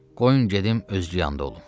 Qoyun gedim özü yanda olum.